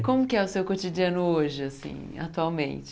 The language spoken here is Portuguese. E como que é o seu cotidiano hoje, assim atualmente?